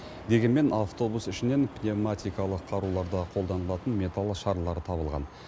дегенмен автобус ішінен пневматикалық қаруларда қолданылатын металл шарлары табылған